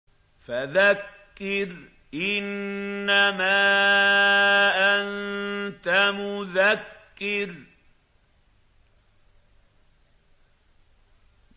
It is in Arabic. فَذَكِّرْ إِنَّمَا أَنتَ مُذَكِّرٌ